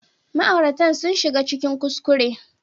Ma'auratan sun shiga cikin kuskure